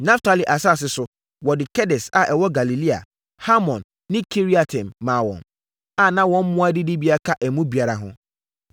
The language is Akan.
Naftali asase so, wɔde Kedes a ɛwɔ Galilea, Hamon ne Kiriataim maa wɔn, a na mmoa adidibea ka emu biara ho.